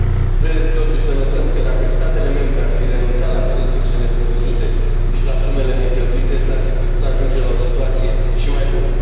Trebuie totuși să notăm că dacă statele membre ar fi renunțat la veniturile neprevăzute și la sumele necheltuite s ar fi putut ajunge la o situație și mai bună.